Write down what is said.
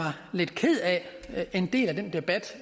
lidt ked af en del af den debat